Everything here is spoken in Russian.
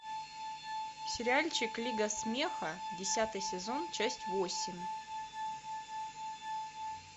сериальчик лига смеха десятый сезон часть восемь